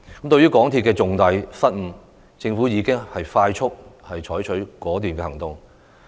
對於港鐵公司的重大失誤，政府已迅速採取果斷行動。